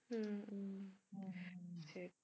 ஆஹ் சரி சரி